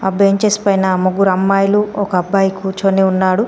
Benches పైన ముగ్గురు అమ్మాయిలు ఒక అబ్బాయి కూర్చొని ఉన్నాడు.